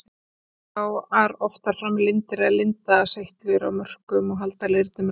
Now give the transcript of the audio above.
Koma þar oft fram lindir eða lindaseytlur á mörkunum og halda leirnum rökum.